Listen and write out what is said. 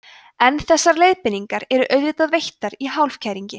en þessar leiðbeiningar eru auðvitað veittar í hálfkæringi